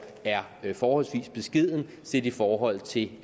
er forholdsvis beskeden set i forhold til